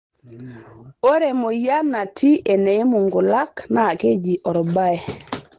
Ore emoyian natii eneimu nkulak naa keji olbaye.